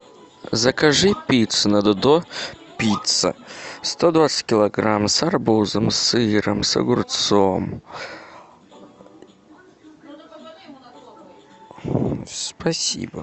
закажи пиццу на додо пицца сто двадцать килограмм с арбузом сыром огурцом спасибо